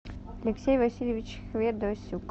алексей васильевич ведосюк